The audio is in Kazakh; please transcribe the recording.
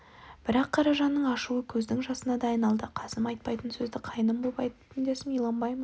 бірақ қаражанның ашуы көздің жасына да айналды қасым айтпайтын сөзді қайным боп айттым дейсің иланбаймын